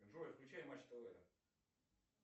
джой включай матч тв